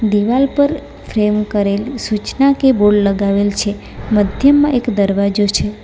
દિવાલ પર ફ્રેમ કરેલું સૂચના કે બોર્ડ લગાવેલ છે મધ્યમાં એક દરવાજો છે.